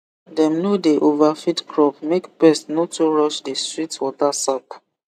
dem no dey overfeed crop make pest no too rush the sweet water sap